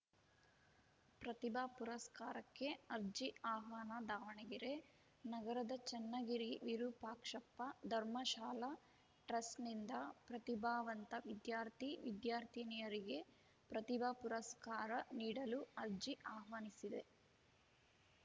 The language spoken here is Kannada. ಪ್ರತಿಭಾ ಪುರಸ್ಕಾರಕ್ಕೆ ಅರ್ಜಿ ಆಹ್ವಾನ ದಾವಣಗೆರೆ ನಗರದ ಚನ್ನಗಿರಿ ವಿರುಪಾಕ್ಷಪ್ಪ ಧರ್ಮಶಾಲಾ ಟ್ರಸ್ಟ್‌ನಿಂದ ಪ್ರತಿಭಾವಂತ ವಿದ್ಯಾರ್ಥಿವಿದ್ಯಾರ್ಥಿನಿಯರಿಗೆ ಪ್ರತಿಭಾ ಪುರಸ್ಕಾರ ನೀಡಲು ಅರ್ಜಿ ಆಹ್ವಾನಿಸಿದೆ